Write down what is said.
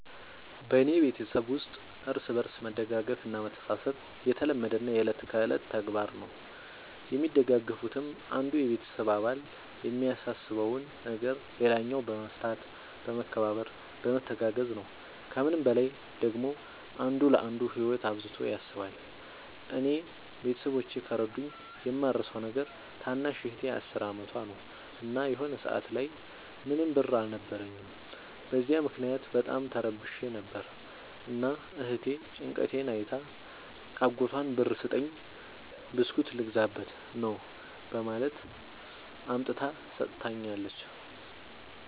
በኔ ቤተሠብ ውስጥ እርስ በርስ መደጋገፍ እና መተሣሠብ የተለመደና የእለት ከእለት ተግባር ነው። የሚደጋገፉትም አንዱ የቤተሰብ አባል የሚያሳስበውን ነገር ሌላኛው በመፍታት በመከባበር በመተጋገዝ ነው። ከምንም በላይ ደግሞ አንዱ ለአንዱ ህይወት አብዝቶ ያስባል። እኔ ቤተሠቦቼ ከረዱኝ የማረሣው ነገር ታናሽ እህቴ አስር አመቷ ነው። እና የሆነ ሰአት ላይ ምንም ብር አልነበረኝም። በዚያ ምክንያት በጣም ተረብሼ ነበር። እና እህቴ ጭንቀቴን አይታ አጎቷን ብር ስጠኝ ብስኩት ልገዛበት ነው በማለት አምጥታ ሠጥታኛለች።